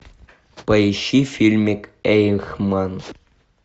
поищи фильмик эйхман